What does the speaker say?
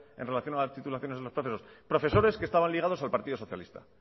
en relación a las titulaciones de los presos profesores que estaban ligados al partido socialista